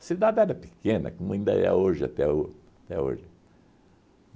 A cidade era pequena, como ainda é hoje, até ho até hoje.